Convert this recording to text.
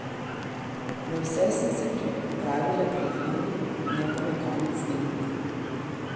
Na vse sem se pripravila pri Ivanu, ne pa na konec snemanja.